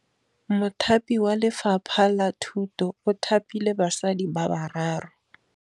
Mothapi wa Lefapha la Thutô o thapile basadi ba ba raro.